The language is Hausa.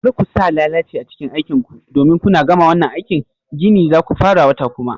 Kar ku sa lalaci a cikin aikin ku domin kuna gama wannan aikin gini zaku fara wata kuma